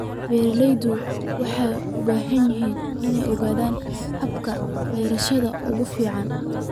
Beeraleydu waxay u baahan yihiin inay ogaadaan hababka beerashada ugu fiican.